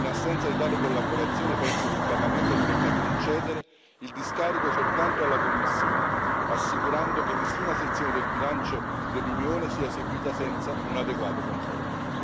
In assenza di tale collaborazione, penso che il Parlamento dovrebbe concedere il discarico soltanto alla Commissione, assicurando che nessuna sezione del bilancio dell'Unione sia seguita senza un adeguato controllo.